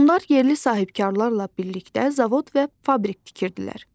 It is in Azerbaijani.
Onlar yerli sahibkarlarla birlikdə zavod və fabrik tikirdilər.